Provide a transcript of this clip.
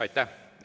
Aitäh!